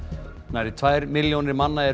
nærri tvær milljónir manna eru